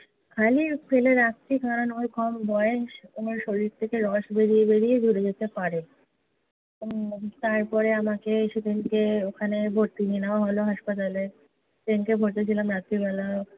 খালি ফেলে রাখছি কারণ ওর কম বয়স। ওর শরীর থেকে রস বেড়িয়ে বেড়িয়ে জুড়ে যেতে পারে। তারপরে আমাকে সেদিনকে ওখানে ভর্তি নিয়ে নেওয়া হলো hospital সেদিনকে ভর্তি ছিলাম রাত্রিবেলা